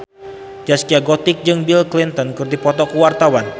Zaskia Gotik jeung Bill Clinton keur dipoto ku wartawan